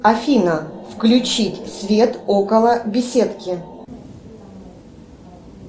афина включить свет около беседки